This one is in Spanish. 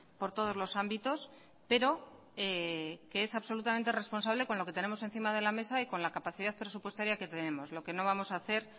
por todos los ámbitos pero que es absolutamente responsable con lo que tenemos encima de la mesa y con la capacidad presupuestaria que tenemos lo que no vamos a hacer